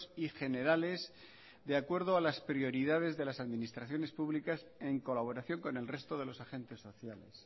y generales de acuerdo a las prioridades de las administraciones públicas en colaboración con el resto de los agentes sociales